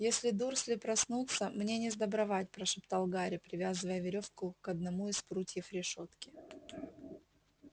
если дурсли проснутся мне несдобровать прошептал гарри привязывая верёвку к одному из прутьев решётки